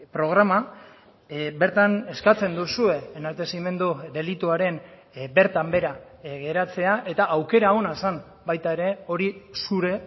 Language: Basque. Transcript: programa bertan eskatzen duzue enaltezimendu delituaren bertan behera geratzea eta aukera ona zen baita ere hori zure